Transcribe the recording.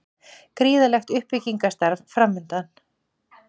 Gríðarlegt uppbyggingarstarf framundan